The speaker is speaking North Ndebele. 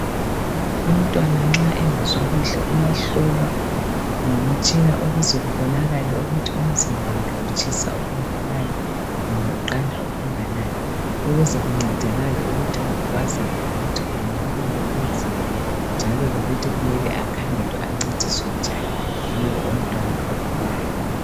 Umntwana nxa engezwakuhle uyahlolwa ngomtshina ukuze kubonakale ukuthi umzimbawakhe utshisa okunganani kumbe uqanda okunganani ukuze kuncedakale ukuthi kwazakale ukuthi kuyini okumele kwenziwe njalo kukhangelwe ukuthi ancediswenjani lowo mntwana ogulayo